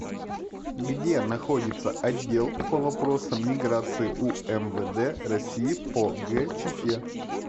где находится отдел по вопросам миграции умвд россии по г чите